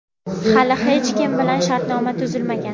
Hali hech kim bilan shartnoma tuzilmagan.